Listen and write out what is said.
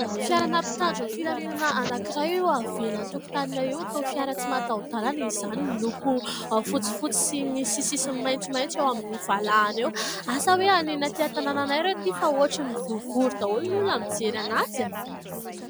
Fiarana mpitandro ny filaminana anankiray eo avelany tokotaninay eo. Toa fiara tsy mahataho- dalana izany miloko fotsifotsy sy misy sisiny maitsomaitso eo amin'ny valahany eo. Asa hoe aninona aty an-tanànanay ireo aty fa ohatrin'ny vorivory daholo ny olona mijery anazy a !